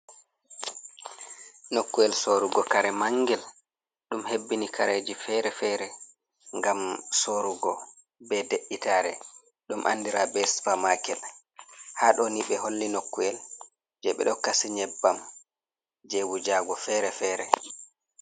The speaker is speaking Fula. Nokkuyel sorrugo kare mangel ɗum hebbini kareji fere-fere ngam sorugo be de’itare dum andira be Supa-maket. Ha ɗoni ɓe holli nokkuyel je ɓe ɗo kasi Nyebbam je wujago fere-fere.